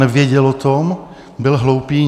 Nevěděl o tom, byl hloupý?